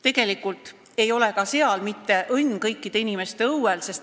Tegelikult ei ole ka seal õnn mitte kõikide inimeste õuel.